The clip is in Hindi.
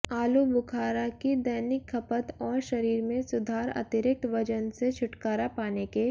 आलूबुखारा की दैनिक खपत और शरीर में सुधार अतिरिक्त वजन से छुटकारा पाने के